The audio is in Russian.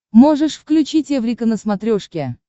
можешь включить эврика на смотрешке